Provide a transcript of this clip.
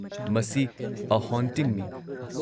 ꯃꯁꯤ 'ꯑ ꯍꯣꯟꯇꯤꯡꯅꯤ'꯫